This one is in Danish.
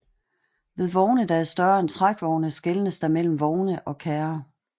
Ved vogne der er større end trækvogne skelnes der mellem vogne og kærrer